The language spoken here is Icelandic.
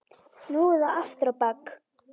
Nú eða aftur á bak!